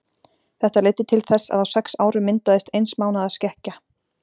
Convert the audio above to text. þetta leiddi til þess að á sex árum myndaðist eins mánaðar skekkja